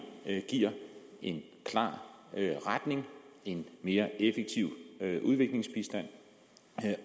giver en klar retning og en mere effektiv udviklingsbistand